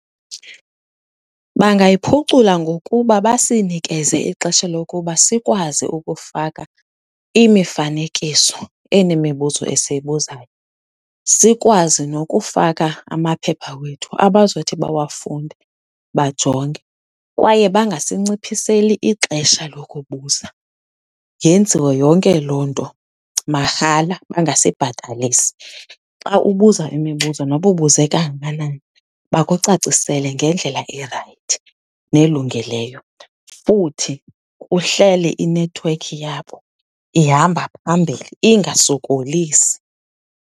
Bangayiphucula ngokuba basinikeze ixesha lokuba sikwazi ukufaka imifanekiso enemibuzo esiyibuzayo, sikwazi nokufaka amaphepha wethu abazothi bawafunde, bajonge kwaye bangasinciphiseli ixesha lokubuza. Yenziwe yonke loo nto mahala, bangasibhatalisi. Xa ubuza imibuzo noba ubuze kangakanani bakucacisele ngendlela erayithi nelungeleyo futhi kuhlale inethiwekhi yabo ihamba phambili ingasokolisi.